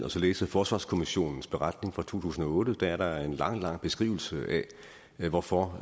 og læse forsvarskommissionens beretning fra to tusind og otte at der er en lang lang beskrivelse af hvorfor